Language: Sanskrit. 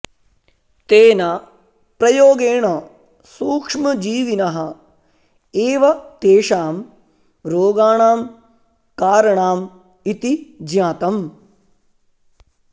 तेन प्रयोगेण सूक्ष्मजीविनः एव तेषां रोगाणां कारणाम् इति ज्ञातम्